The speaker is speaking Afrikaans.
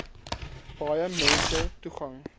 baie mense toegang